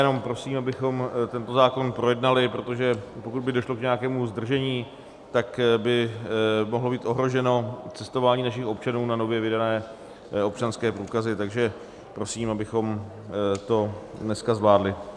Jenom prosím, abychom tento zákon projednali, protože pokud by došlo k nějakému zdržení, tak by mohlo být ohroženo cestování našich občanů na nově vydané občanské průkazy, takže prosím, abychom to dneska zvládli.